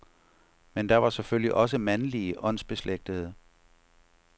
Men der var selvfølgelig også mandlige åndsbeslægtede.